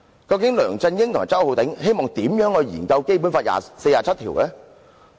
究竟梁振英與周浩鼎議員希望專責委員會如何研究《基本法》第四十七條？